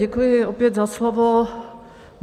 Děkuji opět za slovo.